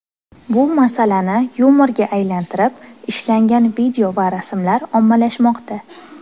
Bu masalani yumorga aylantirib, ishlangan video va rasmlar ommalashmoqda.